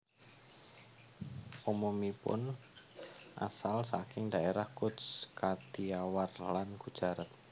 Umumipun asal saking daerah Cutch Kathiawar lan Gujarat